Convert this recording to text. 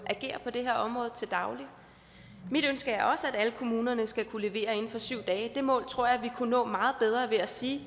agerer på det her område til daglig mit ønske er også at alle kommunerne skal kunne levere inden for syv dage det mål tror jeg vi kunne nå meget bedre ved at sige